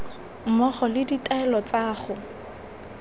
mmogo le ditaelo tsa go